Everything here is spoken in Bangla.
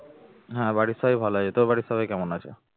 বাড়ির সবাই ভালো আছে তোর বাড়ির সবাই কেমন আছে?